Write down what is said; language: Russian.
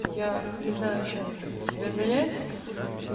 я не знаю чем блин себя занять